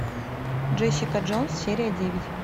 джессика джонс серия девять